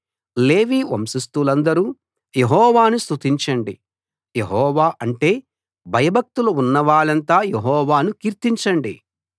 లేవి వంశస్థులందరూ యెహోవాను స్తుతించండి యెహోవా అంటే భయభక్తులు ఉన్నవాళ్ళంతా యెహోవాను కీర్తించండి